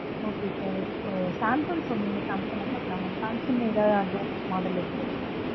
okay sir Samsung phone collection லாம் பார்க்கலாம சாம்சங்ல ஏதாவது advance model இருக்குதுங்களா